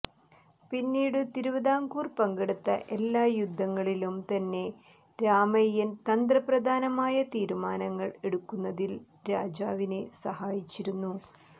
പിന്നീടു തിരുവിതാംകൂർ പങ്കെടുത്ത എല്ലാ യുദ്ധങ്ങളിലും തന്നെ രാമയ്യൻ തന്ത്രപ്രധാനമായ തീരുമാനങ്ങൾ എടുക്കുന്നതിൽ രാജാവിനെ സഹായിച്ചിരുന്നു